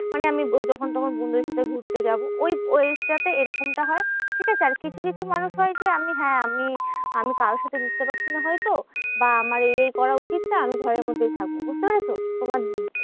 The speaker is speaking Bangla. মানে আমি যখন তখন বন্ধুদের সঙ্গে ঘুরতে যাবো ওই ওই age টা তে এরকমটা হয়, ঠিকাছে? আর কিছু কিছু মানুষ হয় যে আমি হ্যাঁ আমি আমি কারোর সাথে মিশতে পারছি না হয়তো বা আমার এই এই করা উচিত না আমি ঘরের মধ্যেই থাকবো, বুঝতে পেরেছো? তোমার